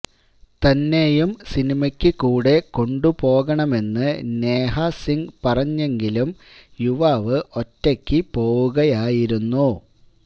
തന്നെയും സിനമയ്ക്ക് കൂടെ കൊണ്ടു പോകണമെന്ന് നേഹാ സിംഗ് പറഞ്ഞെങ്കിലും യുവാവ് ഒറ്റയ്ക്ക് പോവുകയായിരുന്നു